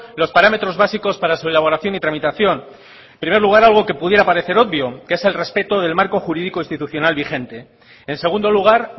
los parámetros básicos para su elaboración y tramitación en primer lugar algo que pudiera parecer obvio que es el respeto del marco jurídico institucional vigente en segundo lugar